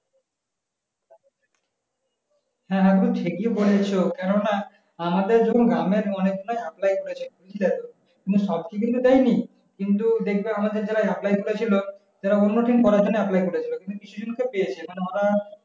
হ্যাঁ হ্যাঁ গো ঠিকই বলেছো কেননা আমাদের যখন গ্রামে অনেক জনাই apply করেছে কিন্তু দেখো কিন্তু সবকে কিন্তু দেয়নি কিন্তু দেখবে আমাদের যারা apply করে ছিল যারা অন্য team করার জন্য apply করে ছিল কিন্তু কিছু জনকে পেয়েছে মানে ওরা